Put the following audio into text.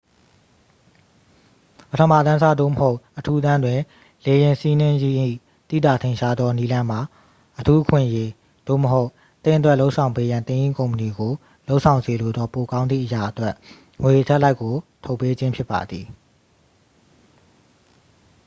ပထမတန်းစား သို့မဟုတ် အထူးတန်းတွင် လေယာဉ်စီးနင်းခြင်း၏ သိသာထင်ရှားသောနည်းလမ်းမှာ အထူးအခွင့်အရေး သို့မဟုတ်၊ သင့်အတွက်လုပ်ဆောင်ပေးရန် သင်၏ကုမ္ပဏီကိုလုပ်ဆောင်စေလိုသော ပိုကောင်းသည့်အရာ အတွက် ငွေအထပ်လိုက်ကို ထုတ်ပေးခြင်းဖြစ်ပါသည်။